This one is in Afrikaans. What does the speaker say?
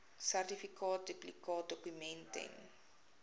sertifikaat duplikaatdokument ten